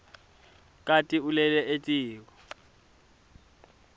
kati ulele etiko